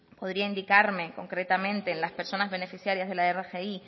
podría indicarme concretamente las personas beneficiarias de la rgi